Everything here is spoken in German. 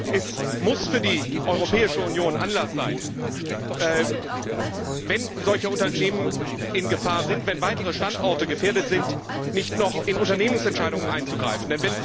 Es muss für die Europäische Union Anlass sein, wenn solche Unternehmen in Gefahr sind, wenn weitere Standorte gefährdet sind, nicht noch in Unternehmensentscheidungen einzugreifen.